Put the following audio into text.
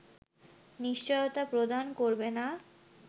নিশ্চয়তা প্রদান করবে না